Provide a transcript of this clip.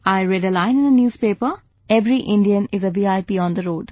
I read a line in a newspaper, 'Every Indian is a VIP on the road'